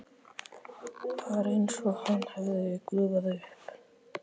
Var einsog hann hefði gufað upp.